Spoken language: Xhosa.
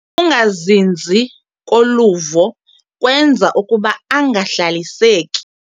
Ukungazinzi koluvo kwenza ukuba angahlaliseki.